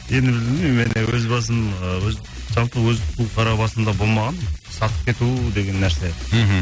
енді білмеймін енді өз басым ы өз жалпы өз қарабасымда болмаған сатып кету деген нәрсе мхм